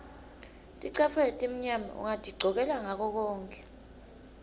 ticatfulo letimnyama ungatigcokela ngakokonkhe